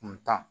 Kun tan